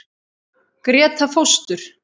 Gréta fóstur.